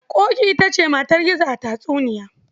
Ƙoƙi ita ce matar Gizo a tatsuniya.